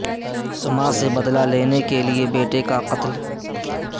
ماں سے بدلہ لینے کے لئے بیٹے کا قتل